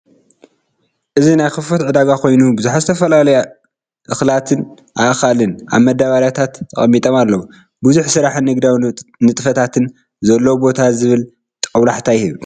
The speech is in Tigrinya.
እዚ ናይ ክፉት ዕዳጋ ኮይኑ፡ ብዙሓት ዝተፈላለዩ እኽላትን ኣእካልን ኣብ መዳበርያታት ተቀሚጦም ኣለዉ። ብዙሕ ስራሕን ንግዳዊ ንጥፈታትን ዘለዎ ቦታ ዝብል ጦብላሕታ ይህብ።